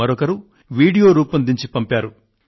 మరొకరు వీడియోను రూపొందించి పంపారు